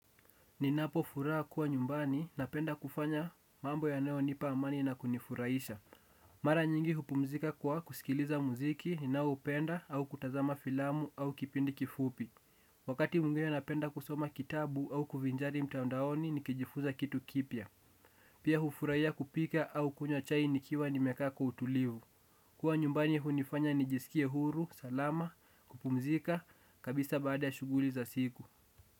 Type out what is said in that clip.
Ninapo furaha kuwa nyumbani napenda kufanya mambo yanayonipa amani na kunifuraisha. Mara nyingi hupumzika kwa kusikiliza muziki ninaupenda au kutazama filamu au kipindi kifupi. Wakati mwingine napenda kusoma kitabu au kuvinjari mtandaoni nikijifunza kitu kipya. Pia hufuraia kupika au kunywa chai nikiwa nimekaa kwa utulivu. Kuwa nyumbani hunifanya nijisikie huru, salama, kupumzika, kabisa baada ya shuguli za siku.